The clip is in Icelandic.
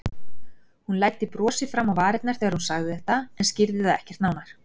Hún læddi brosi fram á varirnar þegar hún sagði þetta en skýrði það ekkert nánar.